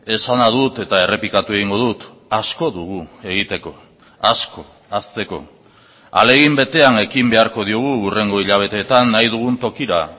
esana dut eta errepikatu egingo dut asko dugu egiteko asko hazteko ahalegin betean ekin beharko diogu hurrengo hilabeteetan nahi dugun tokira